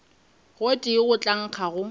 gotee go tla nkga go